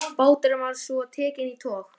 Báturinn var svo tekinn í tog.